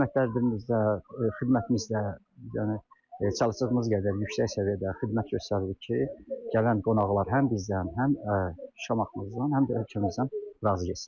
Qiymətlərimizdə, xidmətimizdə yəni çalışdığımız qədər yüksək səviyyədə xidmət göstəririk ki, gələn qonaqlar həm bizdən, həm Şamaxımızdan, həm də ölkəmizdən razı getsinlər.